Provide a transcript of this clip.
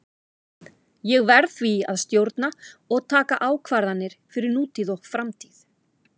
Ég verð því að stjórna og taka ákvarðanir fyrir nútíð og framtíð.